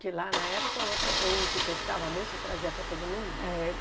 que lá na época, o outro o que pescava muito, trazia para todo mundo. É